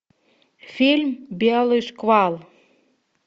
фильм белый шквал